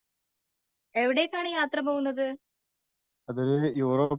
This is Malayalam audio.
എവിടേക്കാണ് യാത്ര പോകുന്നത്.